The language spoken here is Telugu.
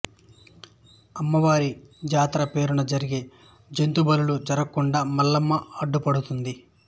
అమ్మవారి జాతర పేరున జరిగే జంతు బలులు జరగకుండా మల్లమ్మ అడ్డుపడుతుంది